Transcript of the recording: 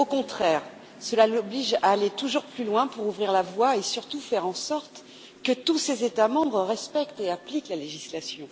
Au contraire, cela l'oblige à aller toujours plus loin pour ouvrir la voie et, surtout, faire en sorte que tous ses États membres respectent et appliquent la législation.